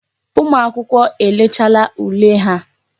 Ụmụ akwụkwọ elechaala ule ha.